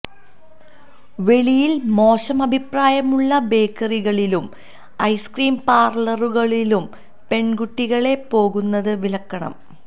വെളിയില് മോശം അഭിപ്രായമുള്ള ബേക്കറികളിലും ഐസ്ക്രീം പാര്ലറുകളിലും പെണ്കുട്ടികള് പോകുന്നത് വിലക്കണം